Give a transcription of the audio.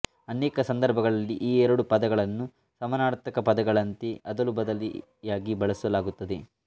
ಅನೇಕ ಸಂದರ್ಭಗಳಲ್ಲಿ ಈ ಎರಡೂ ಪದಗಳನ್ನು ಸಮಾನಾರ್ಥಕ ಪದಗಳಂತೆ ಅದಲುಬದಲಿಯಾಗಿ ಬಳಸಲಾಗುತ್ತದೆ